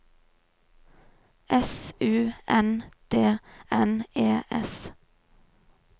S U N D N E S